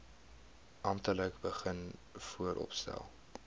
amptelik begin vooropstel